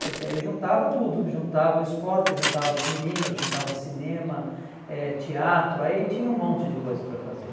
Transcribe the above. Porque aí juntava tudo, juntava o esporte, juntava as meninas, juntava cinema, eh teatro, aí tinha um monte de coisa para fazer.